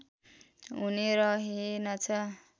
हुने रहेनछ